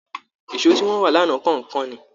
Èso tí wọ́n rà lánàá kàn ń kán ni